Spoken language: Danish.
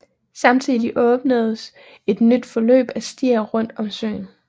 Samtidig åbnedes et nyt forløb af stier rundt om søen